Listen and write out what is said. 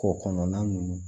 K'o kɔnɔna ninnu